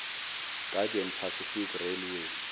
canadian pacific railway